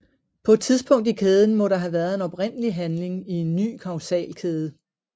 På et tidspunkt i kæden må der have været en oprindelig handling i en ny kausalkæde